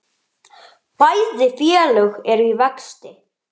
Bæði félög eru í vexti.